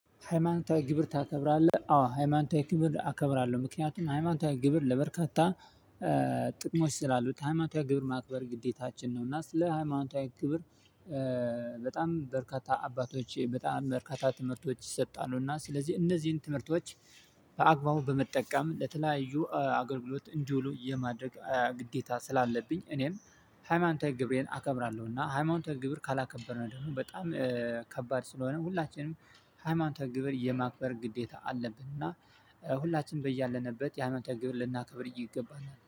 ሃይማኖታዊ ግብር ታከብራለህ አዎ ሃይማኖታዊ ግብር አከብራለሁ ምክንያቱም ሃይማኖታዊ ግብር ለበርካታ ጥቅሞች ስላሉት ሃይማኖታዊ ግብር ማክበር ግዴታችን ነው። እና ስለ ሃይማኖታዊ ግብር። በጣም በርካታ አባቶች በጣም በርካታ ትምህርቶች ይሰጣሉ እና ስለዚህ እነዚህን ትምህርቶች። በአግባቡ በመጠቀም ለተለያዩ አገልግሎት እንዲውሉ የማድረግ ግዴታ ስላለብኝ እኔም ሃይማኖታዊ ግብሬን አከብራለሁና። እና ሃይማኖታዊ ግብር ካላከበርን ደግሞ በጣም ከባድ ስለሆነ ሁላችንም ሃይማኖታዊ ግብር የማክበር ግዴታ አለብንና። ሁላችንም በያለንበት የአመተ ግብር ልናከብር ይገባናል